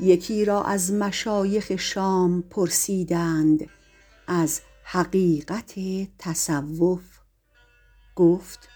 یکی را از مشایخ شام پرسیدند از حقیقت تصوف گفت